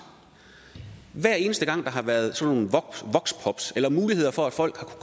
hver eneste gang der har været sådan nogle voxpops eller muligheder for at folk har